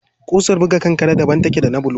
Ƙusar buga kankare daban take da ta bulu.